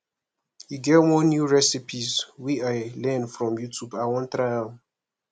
e get one new recipes wey i learn from youtube i wan try am